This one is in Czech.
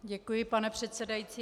Děkuji, pane předsedající.